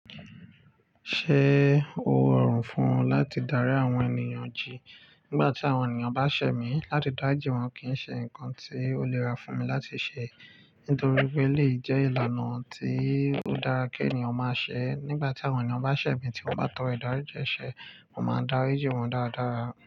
Ṣé o rò run fún o láti darí àwọn ènìyàn jì nígbà tí àwọn ènìyàn bá ṣẹ̀mí, láti dá rìjìn wọn kì í ṣe nǹkan tí ó lè rà fún mi láti ṣe nítorí pé elèyi jẹ́ ìlànà tí ó dára kí ènìyàn máa ṣẹ. Nígbà tí àwọn ènìyàn bá ṣẹ̀ mī tí wọ́n bá tọrọ ìdáríjì ẹ̀ ṣẹ, mo máa dá ri ji wọn dáradára.